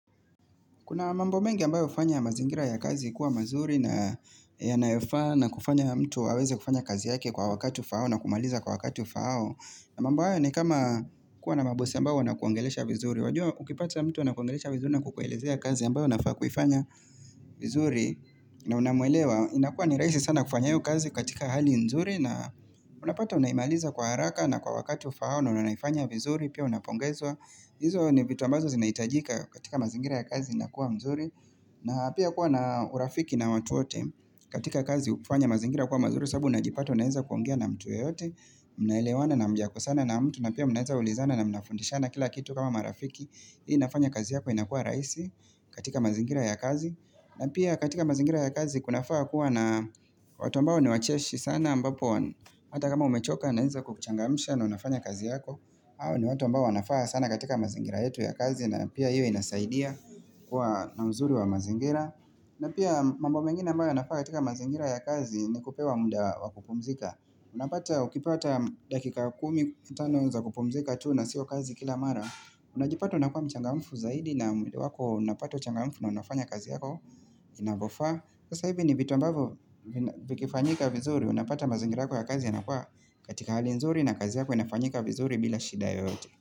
Kuna mambo mengi ambayo hufanya mazingira ya kazi kuwa mazuri na yanayofaa na kufanya mtu aweze kufanya kazi yake kwa wakati ufahao na kumaliza kwa wakati ufahao na mambo hayo ni kama kuwa na mabosi ambao wanakuongelesha vizuri. Wajua ukipata mtu unakuongelesha vizuri na kukuelezea kazi ambayo unafaa kufanya vizuri na unamuelewa. Inakuwa ni raisi sana kufanya hiyo kazi katika hali nzuri na unapata unaimaliza kwa haraka na kwa wakati ufahao na unanaifanya vizuri pia unapongezwa. Hizo ni vitu ambazo zinaitajika katika mazingira ya kazi nakuwa mzuri na pia kuwa na urafiki na watu wote katika kazi hufanya mazingira kuwa mazuri sababu unajipata unaeza kuongea na mtu yoyote Mnaelewana na hamjakosana na mtu na pia mnaeza ulizana na mnafundishana kila kitu kama marafiki Hii nafanya kazi yako inakuwa rahisi katika mazingira ya kazi na pia katika mazingira ya kazi kunafaa kuwa na watu ambao ni wacheshi sana ambapo Hata kama umechoka anaweza kukuchangamisha na unafanya kazi yako hao ni watu mbao wanafaa sana katika mazingira yetu ya kazi na pia hiyo inasaidia kuwa na mzuri wa mazingira na pia mambo mengeni ambayo yanafaa katika mazingira ya kazi ni kupewa muda wa kupumzika unapata ukipata dakika kumi kumi na tano za kupumzika tuu na siyo kazi kila mara unajipata unakua mchangamfu zaidi na iwapo unapata uchangamfu na unafanya kazi yako inavyofaa sasa hivi ni vitu ambavyo vikifanyika vizuri unapata mazingira yako ya kazi yanakuwa katika hali nzuri na kazi yako inafanyika vizuri bila shida yoyote.